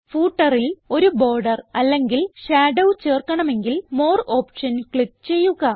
footerൽ ഒരു ബോർഡർ അല്ലെങ്കിൽ ഷാഡോ ചേർക്കണമെങ്കിൽ മോർ ഓപ്ഷൻ ക്ലിക്ക് ചെയ്യുക